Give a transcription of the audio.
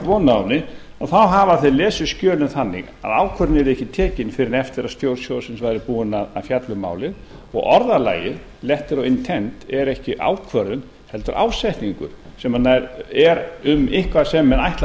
von á henni hafa þeir lesið skjölin þannig að ákvörðun yrði ekki tekin fyrr en eftir að stjórn sjóðsins væri búin að fjalla um málið og orðalagið letter of intent væri ekki ákvörðun heldur ásetningur sem er um eitthvað sem menn ætla að